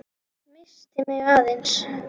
Missti mig aðeins.